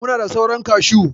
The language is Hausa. Muna da sauran kashu.